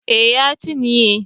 Eh ya cinye